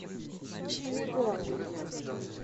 чилегон